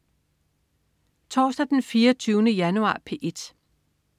Torsdag den 24. januar - P1: